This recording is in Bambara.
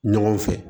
Ɲɔgɔn fɛ